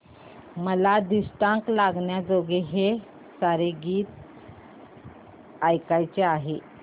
मला दृष्ट लागण्याजोगे सारे हे गीत ऐकायचे आहे